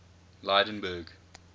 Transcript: lydenburg